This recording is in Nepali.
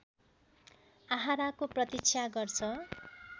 आहाराको प्रतिक्षा गर्छ